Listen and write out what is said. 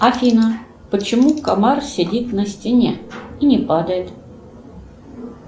афина почему комар сидит на стене и не падает